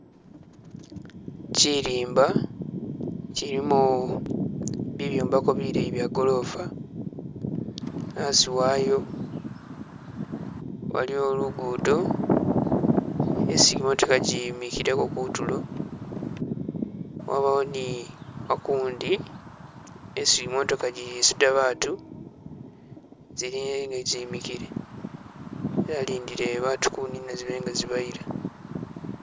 Chilimba chilimo bibyombeko bileyi byegoroofa, asi wayo waliwo lugudo isi imotooka gi'imikileko kutulo, wabawo ni akundi isi imotooka gyi'isuuda batu, ziliyo ziyimikile zalindile batu kunina zibele nga zibayila